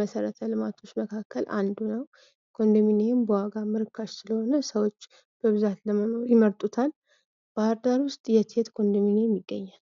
መሠረተ ልማቶች መካከል አንዱ ነው። ኮንዶሚኒየም በዋጋም ርካሽ ስለሆነ ሰዎች በብዛት ለመሆን ይመርጡታል። ባህር ዳር ውስጥ የት የት ኮንዶሚኒየም ይገኛል?